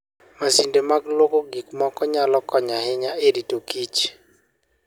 Masinde mag lwoko gik moko nyalo konyo ahinya e ritokich